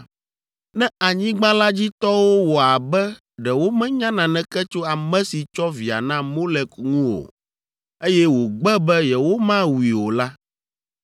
Ne anyigba la dzi tɔwo wɔ abe ɖe womenya naneke tso ame si tsɔ via na Molek ŋu o, eye wogbe be yewomawui o la,